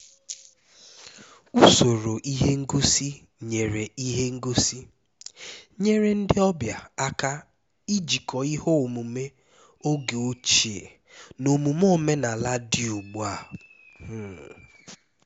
usoro ihe ngosi’ nyeere ihe ngosi’ nyeere ndị ọbịa aka ijikọ ihe omume oge ochie na omume omenala dị ugbu a um